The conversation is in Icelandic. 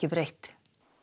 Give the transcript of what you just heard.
breytt